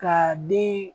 Ka den